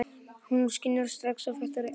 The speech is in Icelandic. Hún skynjar strax að það er eitthvað að.